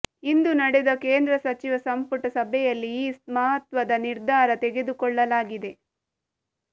ಇಂದು ನಡೆದ ಕೇಂದ್ರ ಸಚಿವ ಸಂಪುಟ ಸಭೆಯಲ್ಲಿ ಈ ಮಹತ್ವದ ನಿರ್ಧಾರ ತೆಗೆದುಕೊಳ್ಳಲಾಗಿದೆ